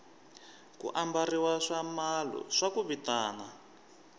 ku ambariwa swiamalo swa ku vitana